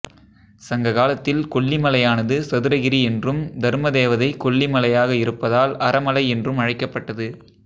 சங்க காலத்தில் கொல்லிமலையானது சதுரகிரி என்றும் தர்மதேவதை கொல்லி மலையாக இருப்பதால் அறமலை என்றும் அழைக்கப்பட்டது